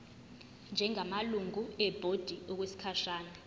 njengamalungu ebhodi okwesikhashana